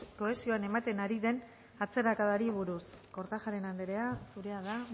kohesioan ematen ari den atzerakadari buruz kortajarena andrea zurea da